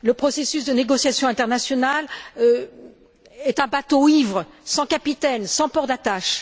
Le processus de négociation internationale est un bateau ivre, sans capitaine, sans port d'attache.